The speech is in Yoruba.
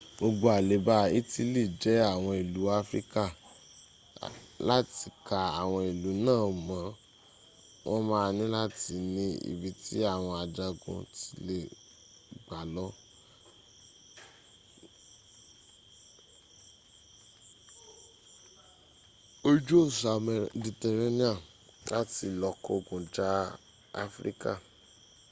gbogbo aleba itili je awon ilu afirika lati ka awon ilu naa mo won maa nilati ni ibi ti awon ajagun ti le gba lo ja ki eon lr gba oju osa meditereniani lati lo kogun ja afirika